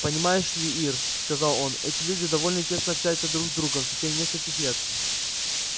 понимаешь ли ир сказал он эти люди довольно тесно общаются друг с другом в течение нескольких лет